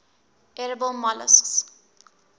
edible molluscs